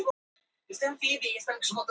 Slasaðist við mótorkross æfingar